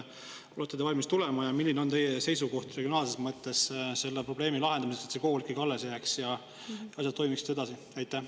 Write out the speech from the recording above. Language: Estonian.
Olete te valmis kohale tulema ja milline on teie seisukoht, kuidas regionaalses mõttes see probleem lahendada nii, et see kool ikkagi jääks alles ja asjad toimiksid edasi?